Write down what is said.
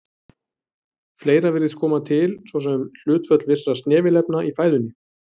Fleira virðist koma til, svo sem hlutföll vissra snefilefna í fæðunni.